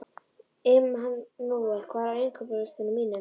Immanúel, hvað er á innkaupalistanum mínum?